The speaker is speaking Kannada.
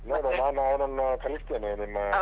ನೋಡ್ವ ನಾನು ಅವನನ್ನ ಕಳಿಸ್ತೇನೆ ನಿಮ್ಮ ಹತ್ರ.